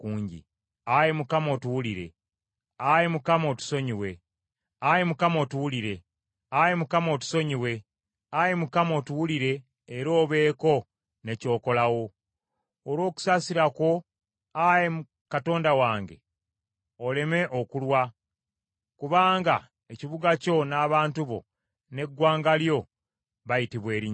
Ayi Mukama otuwulire! Ayi Mukama, otusonyiwe! Ayi Mukama otuwulire era obeeko ne ky’okolawo! Olw’okusaasira kwo, Ayi Katonda wange oleme okulwa, kubanga ekibuga kyo n’abantu bo n’eggwanga lyo bayitibwa Erinnya lyo.”